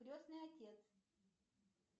крестный отец